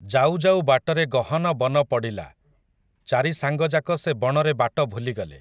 ଯାଉଯାଉ ବାଟରେ ଗହନ ବନ ପଡ଼ିଲା, ଚାରି ସାଙ୍ଗଯାକ ସେ ବଣରେ ବାଟ ଭୁଲିଗଲେ ।